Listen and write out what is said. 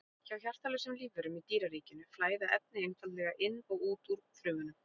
Hjá hjartalausum lífverum í dýraríkinu flæða efni einfaldlega inn og út úr frumunum.